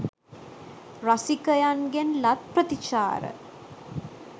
රසිකයන්ගෙන් ලත් ප්‍රතිචාර